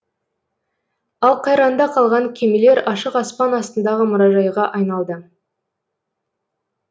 ал қайраңда қалған кемелер ашық аспан астындағы мұражайға айналды